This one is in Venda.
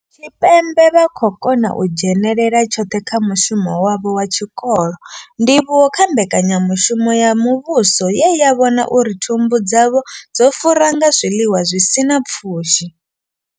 Tshipembe vha khou kona u dzhenelela tshoṱhe kha mushumo wavho wa tshikolo, ndivhuwo kha mbekanyamushumo ya muvhuso ye ya vhona uri thumbu dzavho dzo fura nga zwiḽiwa zwi sina pfushi.